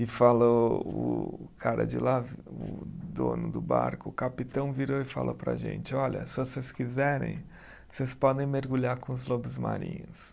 E falou o o cara de lá, o dono do barco, o capitão virou e falou para a gente, olha, se vocês quiserem, vocês podem mergulhar com os lobos marinhos.